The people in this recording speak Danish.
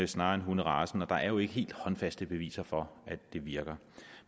snarere end hunderacen og der er jo ikke helt håndfaste beviser for at det virker